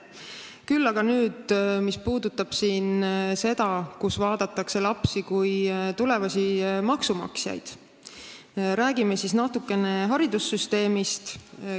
Nüüd aga sellest, kui lapsi vaadatakse kui tulevasi maksumaksjaid – räägime natuke haridussüsteemist.